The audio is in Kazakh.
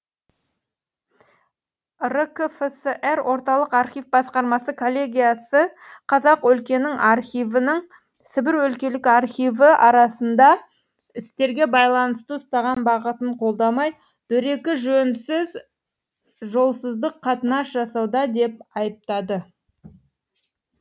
ркфср орталық архив басқармасы коллегиясы қазақ өлкенің архивінің сібір өлкелік архиві арасындағы істерге байланысты ұстанған бағытын қолдамай дөрекі жөнсіз жолсыздық қатынас жасауда деп айыптады